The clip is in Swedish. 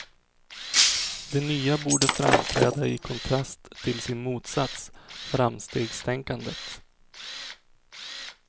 Det nya borde framträda i kontrast till sin motsats, framstegstänkandet.